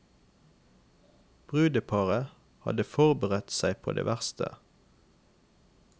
Brudeparet hadde forberedt seg på det verste.